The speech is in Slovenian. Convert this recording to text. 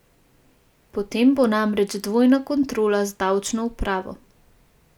Potem bo namreč dvojna kontrola z davčno upravo.